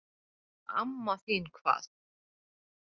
Amma þín hvað?